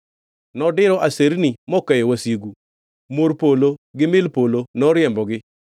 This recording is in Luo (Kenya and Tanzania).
Nodiro aserni mokeyo wasigu, mor polo gi mil polo noriembogi.